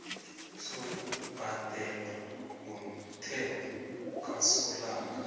sokubhadelwa komthelo kasolanga